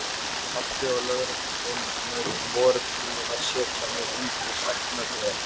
Pabbi og lögregluþjónarnir voru búnir að setja mig undir stækkunargler.